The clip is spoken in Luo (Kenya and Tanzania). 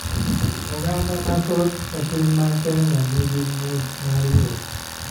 Oganda amthoth e piny ma Keny ni gi mich mar wer .